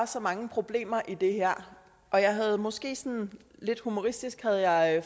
så mange problemer i det her og jeg havde måske sådan lidt humoristisk